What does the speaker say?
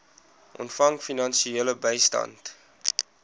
ontvang finansiële bystand